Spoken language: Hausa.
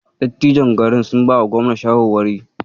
Dattijon garin sun bawa Gobna shawarwari.